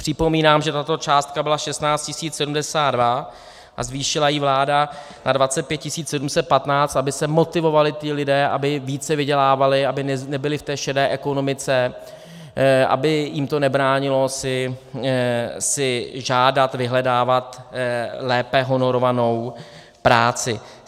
Připomínám, že tato částka byla 16 072 a zvýšila ji vláda na 25 715, aby se motivovali ti lidé, aby více vydělávali, aby nebyli v té šedé ekonomice, aby jim to nebránilo si žádat, vyhledávat lépe honorovanou práci.